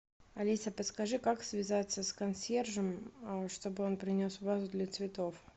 алиса подскажи как связаться с консьержем чтобы он принес вазу для цветов